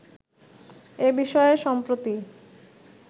এ বিষয়ে সম্প্রতি